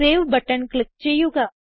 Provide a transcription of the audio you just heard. save button click ചെയ്യുക